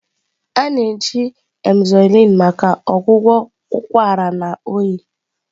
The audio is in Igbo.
A na-eji Emzoyln maka ọgwụgwọ ụkwara na oyi.